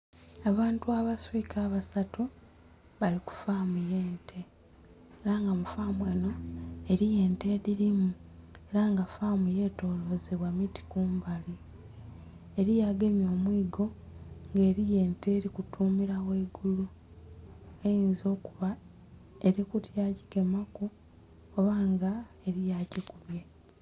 Abantu abaswika abasatu bali ku faamu ye ente era nga kufaamu enho eriyo ente edhilimu era nga faamu ye tolozebwa miti kumbali eriyo agemye omwigo nga eriyo ente eri mutumila ghaigulu eyinza okiba erikutya gigemaku oba nga eriyo agikubye.